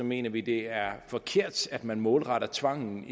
mener vi det er forkert at man målretter tvangen